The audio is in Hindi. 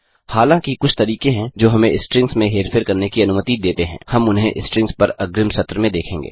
हालाँकि कुछ तरीके हैं जो हमें स्ट्रिंग्स में हेरफेर करने की अनुमति देते हैं हम उन्हें स्ट्रिंग्स पर अग्रिम सत्र में देखेंगे